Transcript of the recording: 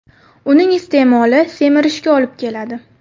Uning iste’moli semirishga olib keladi.